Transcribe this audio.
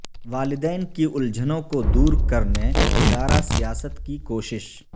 والدین کی الجھنوں کو دور کرنے ادارہ سیاست کی کوشش